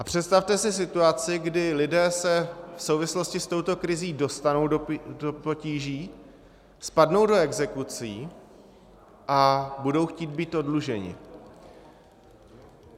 A představte si situaci, kdy lidé se v souvislosti s touto krizí dostanou do potíží, spadnou do exekucí a budou chtít být oddluženi.